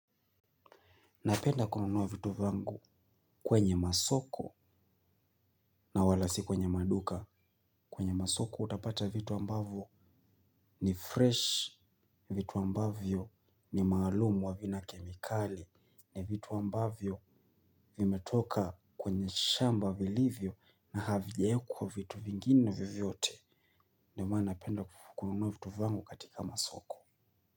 Napenda kununua vitu vyangu kwenye masoko na wala si kwenye maduka kwenye masoko utapata vitu ambavyo ni fresh, vitu ambavyo ni maalumu havina kemikali ni vitu ambavyo vimetoka kwenye shamba vilivyo na havijaekwa vitu vingine vyovyote ndio maana napenda kununuwa vitu vyangu katika masoko.